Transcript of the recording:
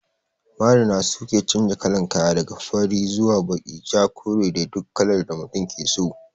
Marina su ke chanja kalan kaya, daga fari zuwa baki, ja, kore da dai dukkan kalar da mutum ke so.